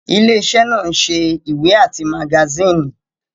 Ilé iṣẹ́ náà ń ṣe ìwé àti magasíìnì